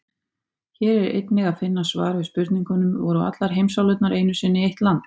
Hér er einnig að finna svar við spurningunum: Voru allar heimsálfurnar einu sinni eitt land?